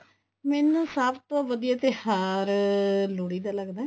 ਮੈਨੂੰ ਸਭ ਤੋਂ ਵਧੀਆ ਤਿਉਹਾਰ ਲੋਹੜੀ ਦਾ ਲੱਗਦਾ